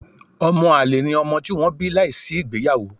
Ọmọ-àlè ni ọmọ tí wọ́n bí láìsí ìgbéyàwó.